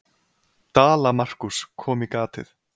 Dala-Markús kom í gatið.